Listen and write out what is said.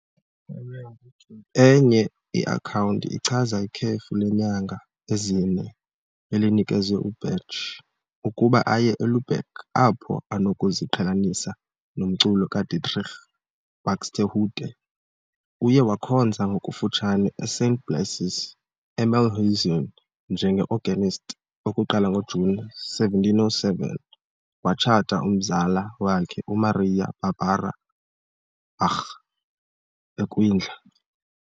Enye iakhawunti ichaza ikhefu leenyanga ezine elinikezwe uBach, ukuba aye eLubeck apho anokuziqhelanisa nomculo kaDietrich Buxtehude. Uye wakhonza ngokufutshane eSt. Blasius eMühlhausen njenge-organist, ukuqala ngoJuni 1707, watshata umzala wakhe, uMaria Barbara Bach, ekwindla.